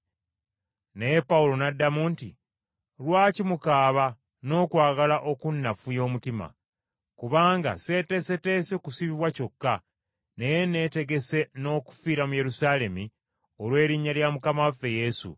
Naye Pawulo n’addamu nti, “Lwaki mukaaba n’okwagala okunnafuya omutima? Kubanga seeteeseteese kusibibwa kyokka, naye neetegese n’okufiira mu Yerusaalemi olw’erinnya lya Mukama waffe Yesu.”